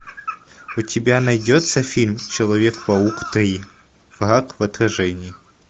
у тебя найдется фильм человек паук три враг в отражении